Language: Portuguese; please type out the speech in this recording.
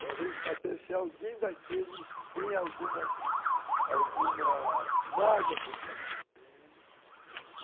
para ver se alguém daqueles tem alguma alguma mágoa contra mim.